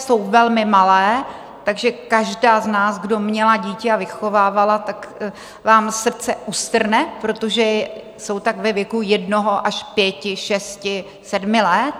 Jsou velmi malé, takže každá z nás, kdo měla dítě a vychovávala, tak vám srdce ustrne, protože jsou tak ve věku jednoho až pěti, šesti, sedmi let.